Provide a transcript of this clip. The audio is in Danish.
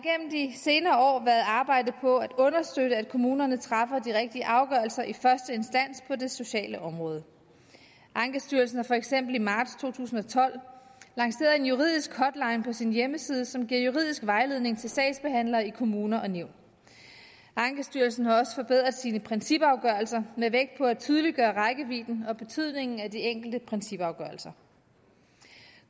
senere år været arbejdet på at understøtte at kommunerne træffer de rigtige afgørelser i første instans på det sociale område ankestyrelsen har for eksempel i marts to tusind og tolv lanceret en juridisk hotline på sin hjemmeside som giver juridisk vejledning til sagsbehandlere i kommuner og nævn ankestyrelsen har også forbedret sine principafgørelser med vægt på at tydeliggøre rækkevidden og betydningen af de enkelte principafgørelser